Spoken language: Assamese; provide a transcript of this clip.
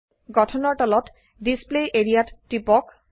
গঠনৰ তলত ডিছপ্লে এৰিয়া ত টিপক